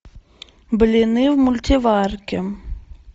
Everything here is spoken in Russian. блины в мультиварке